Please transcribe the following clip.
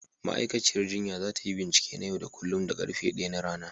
Ma'aikaciyar jinya za ta yi bincike na yau da kullun da karfe 1 na rana.